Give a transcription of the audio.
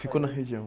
Ficou na região.